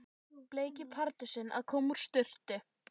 Bleiki Pardusinn að koma úr sturtu!